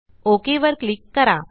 okay वर click करा